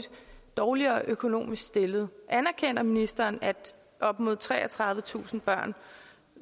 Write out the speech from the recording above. dårligere økonomisk stillet anerkender ministeren at op mod treogtredivetusind børn